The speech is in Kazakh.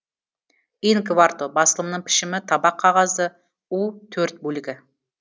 ин кварто басылымның пішімі табақ қағазды у төрт бөлігі